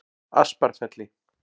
Asparfelli